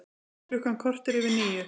Klukkan korter yfir níu